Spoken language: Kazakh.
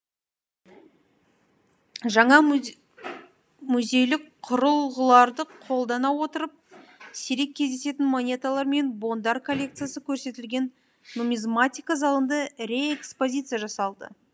жаңа музейлік құрылғыларды қолдана отырып сирек кездесетін монеталар мен бондар коллекциясы көрсетілген нумизматика залында реэкспозиция жасалды